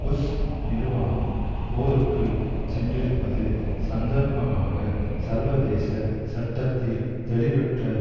push நிர்வாகம் போருக்கு சென்றிருப்பது சந்தர்ப்பமாக சர்வதேச சட்டத்தில் தெளிவற்ற